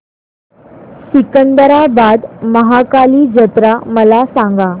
सिकंदराबाद महाकाली जत्रा मला सांगा